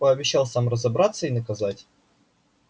пообещал сам разобраться и наказать